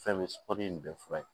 Fɛn bɛ sɔr'o bɛɛ fura ye